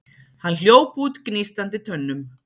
Hann hljóp út gnístandi tönnum.